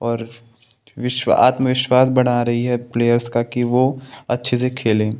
और विश्व आत्मविश्वास बड़ा रही है प्लेयर्स का की वो अच्छे से खेले।